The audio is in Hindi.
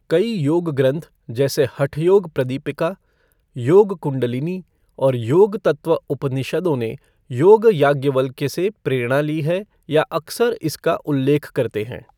कई योग ग्रंथ जैसे हठ योग प्रदीपिका, योग कुंडलिनी और योग तत्त्व उपनिषदों ने योग याज्ञवल्क्य से प्रेरणा ली है या अक्सर इसका उल्लेख करते हैं।